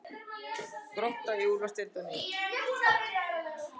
Grótta í úrvalsdeild á ný